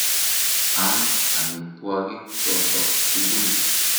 Am amitwogik chotok tukul.